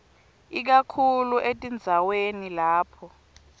ikakhulu etindzaweni lapho